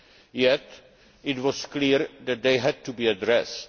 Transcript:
Yet it was clear that they had to be addressed.